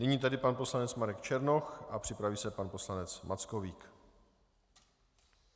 Nyní tedy pan poslanec Marek Černoch a připraví se pan poslanec Mackovík.